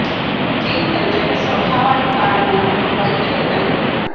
chain తన చెడ్డ స్వభావానికి కారణమైన ఒక వైకల్యం కలిగి ఉన్నాడు